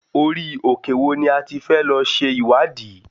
Orí òkè wo ni a ti fẹ́ lọ ṣe ìwádìí?